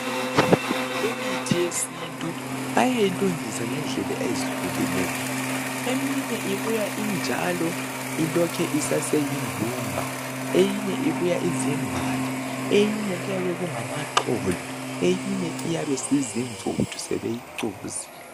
Imithi yesintu bayayilungisa ngendlela ezihlukeneyo ,eminye ibuya injalo ilokhe isaseyi mbumba. Eyinye ibuya izimbali ,eyinye kuyabe kungamaxolo ,eyinye iyabisizimvuthu sebeyicukuzile.